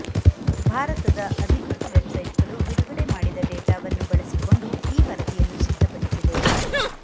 ಭಾರತದ ಅಧಿಕೃತ ವೆಬ್ಸೈಟ್ಗಳು ಬಿಡುಗಡೆ ಮಾಡಿದ ಡೇಟಾವನ್ನು ಬಳಸಿಕೊಂಡು ಈ ವರದಿಯನ್ನು ಸಿದ್ಧಪಡಿಸಿದೆ